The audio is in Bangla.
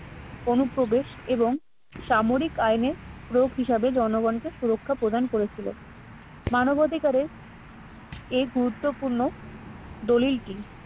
অনুপ্রবেশ এবং সামরিক আইনে রোগ হিসাবে জনগণকে সুরক্ষা প্রদান করেছিল মানবাধিকারের এই গুরুত্বপূর্ণ দলিলটি